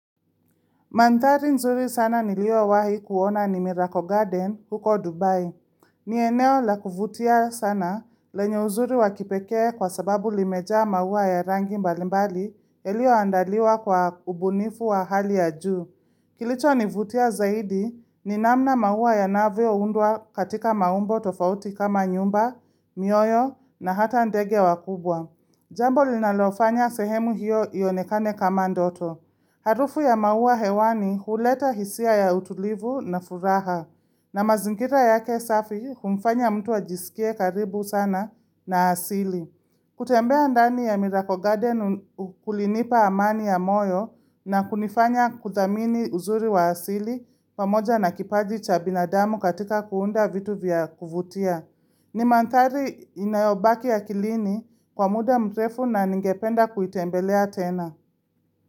Manthari nzuri sana niliowahi kuona ni Miracle Garden huko Dubai. Ni eneo la kuvutia sana lenye uzuri wa kipekee kwa sababu limejaa maua ya rangi mbalimbali iliyoandaliwa kwa ubunifu wa hali ya juu. Kilichonivutia zaidi ni namna maua yanavyoundwa katika maumbo tofauti kama nyumba, mioyo na hata ndege wakubwa. Jambo linalofanya sehemu hiyo ionekane kama ndoto. Harufu ya maua hewani huleta hisia ya utulivu na furaha na mazingira yake safi humfanya mtu ajisikie karibu sana na asili. Kutembea ndani ya Miracle Garden kulinipa amani ya moyo na kunifanya kuthamini uzuri wa asili pamoja na kipaji cha binadamu katika kuunda vitu vya kuvutia. Ni manthari inayobaki akilini kwa muda mrefu na ningependa kuitembelea tena.